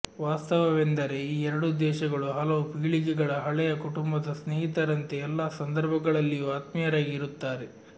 ವಾಸ್ತವವೆಂದರೆ ಈ ಎರಡೂ ದೇಶಗಳು ಹಲವು ಪೀಳಿಗೆಗಳ ಹಳೆಯ ಕುಟುಂಬದ ಸ್ನೇಹಿತರಂತೆ ಎಲ್ಲ ಸಂದರ್ಭಗಳಲ್ಲಿಯೂ ಆತ್ಮೀಯರಾಗಿ ಇರುತ್ತಾರೆ